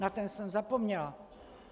Na ten jsem zapomněla.